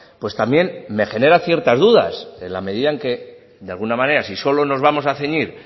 pues también me genera ciertas dudas en la medida en que de alguna manera si solo nos vamos a ceñir